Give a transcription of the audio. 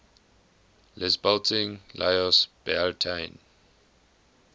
lisbalting lios bealtaine